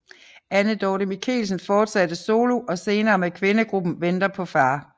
Anne Dorte Michelsen fortsatte solo og senere med kvindegruppen Venter på far